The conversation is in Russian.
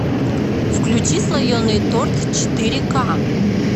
включи слоеный торт четыре ка